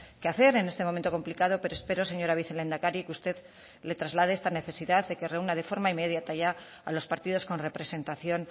que hacer en este momento complicado pero espero señora vicelehendakari que usted le traslade esta necesidad de que reúna de forma inmediata ya a los partidos con representación